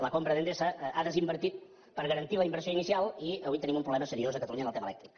la compra d’endesa ha desinvertit per garantir la inversió inicial i avui tenim un problema seriós a catalunya en el tema elèctric